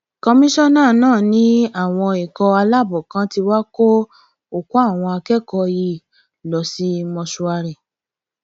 kọmíṣánná náà ní àwọn ikọ aláàbọ kan tí wàá kó òkú àwọn akẹkọọ yìí lọ sí mọṣúárì